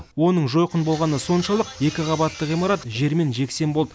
оның жойқын болғаны соншалық екі қабатты ғимарат жермен жексен болды